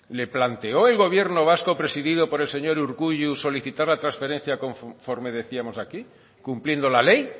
le planteó el gobierno vasco presidido por el señor urkullu solicitar la trasferencia conforme decíamos aquí cumpliendo la ley